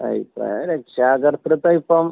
അഭിപ്രായം രക്ഷാകർതൃത്വം ഇപ്പം